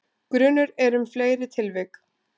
Grunur er um fleiri tilvik